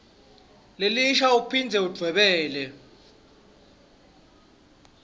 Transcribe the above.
lelisha uphindze udvwebele